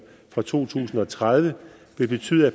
fra to tusind og tredive vil betyde at